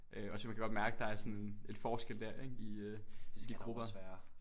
Øh også fordi man kan godt mærke der er sådan en forskel der ik i øh i grupper